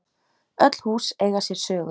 Öll hús eiga sér sögu.